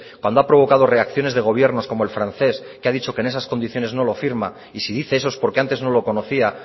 cuando ha provocado reacciones de gobierno como el francés que ha dicho que en esas condiciones no lo firma y si dice eso es porque antes no lo conocía